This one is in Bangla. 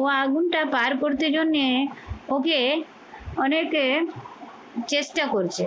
ও আগুনটা পার করতে জন্যে ওকে অনেকে চেষ্টা করছে।